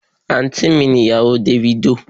Àǹtí mi ni ìyàwó dáfídì